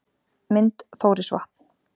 Mynd: Þórisvatn